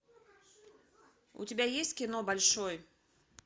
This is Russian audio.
у тебя есть кино большой